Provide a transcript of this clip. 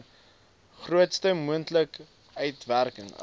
grootste moontlike uitwerking